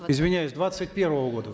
извиняюсь двадцать первого года